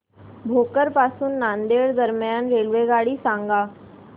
भोकर पासून नांदेड दरम्यान रेल्वेगाडी सांगा